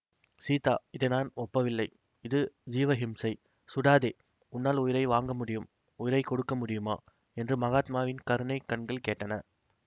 சீதா இதை நான் ஒப்பவில்லை இது ஜீவஹிம்சை சுடாதே உன்னால் உயிரை வாங்கமுடியும் உயிரை கொடுக்க முடியுமா என்று மகாத்மாவின் கருணைக் கண்கள் கேட்டன